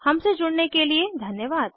हमसे जुड़ने के लिए धन्यवाद